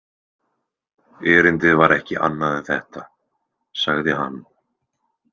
Erindið var ekki annað en þetta, sagði hann.